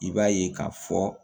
I b'a ye k'a fɔ